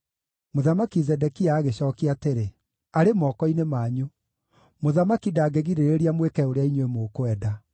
Mũthamaki Zedekia agĩcookia atĩrĩ, “Arĩ moko-inĩ manyu; mũthamaki ndangĩgirĩrĩria mwĩke ũrĩa inyuĩ mũkwenda.”